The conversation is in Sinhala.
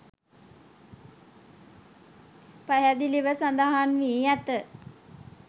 පැහැදිලිව සඳහන් වී ඇත